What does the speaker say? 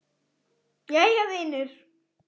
Jæja vinur.